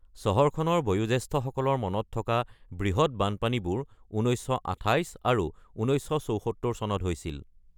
চহৰখনৰ বয়োজ্যেষ্ঠসকলৰ মনত থকা বৃহৎ বানপানীবোৰ ১৯২৮ আৰু ১৯৭৪ চনত হৈছিল।